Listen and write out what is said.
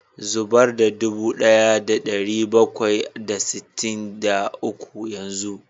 Zubar da dubu daya da dari bakwai da sittin da uku yanzu